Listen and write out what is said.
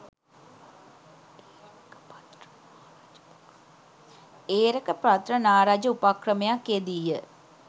ඒරකපත්‍ර නා රජ උපක්‍රමයක් යෙදී ය.